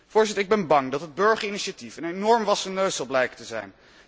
Voorzitter, ik ben bang dat het burgerinitiatief een enorm wassen neus zal blijken te zijn.